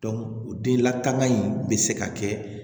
den lakana in bɛ se ka kɛ